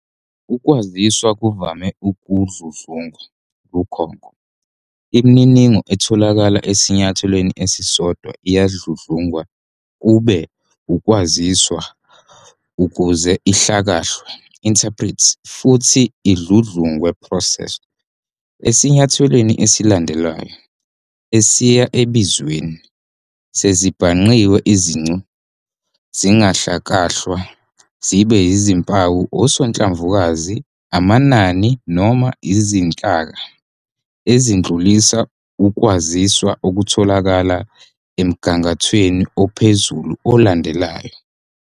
Ukwaziswa kuvame Ukudludlungwa lukhonko- Imininingo etholakala esinyathelweni esisodwa iyadludlungwa kube ukwaziswa ukuze ihlakahlwe "interpreted" futhi idludlungwe "processed" esinyathelweni esilandelayo. Esiyabizweni sezezibhangqiwe izincu zingahlakahlwa zibe izimpawu, osonhlamvu, amanani, noma izinhlaka ezidlulisa ukwaziswa okutholakala emgangathweni ophezulu olandelayo.